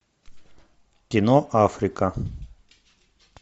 кино африка